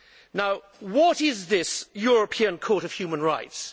Now what is this European Court of Human Rights?